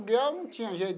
Porque eu não tinha jeito.